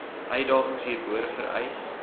uitdagings hierbo vereis